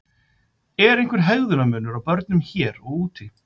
En er einhver hegðunar munur á börnum hér og úti?